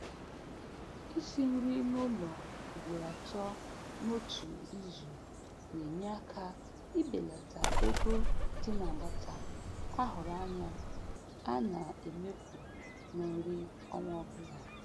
Isi nri n'ụlọ ugboro atọ n'otu izu na-enye aka ibelata ego dị n'agbata a hụrụ anya a na-emefu na nri ọnwa ọbụla.